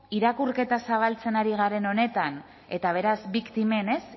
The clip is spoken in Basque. irakurketa zabaltzen ari garen honetan eta beraz biktimen